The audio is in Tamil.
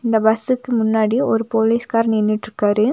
இந்த பஸ்ஸுக்கு முன்னாடி ஒரு போலீஸ்கார் நின்னுட்ருக்காரு.